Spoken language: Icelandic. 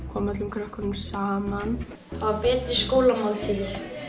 koma öllum krökkunum saman hafa betri skólamáltíðir